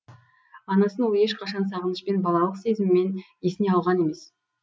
анасын ол ешқашан сағынышпен балалық сезіммен есіне алған емес